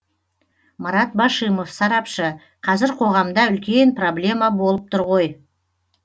марат башимов сарапшы қазір қоғамда үлкен проблема болып тұр ғой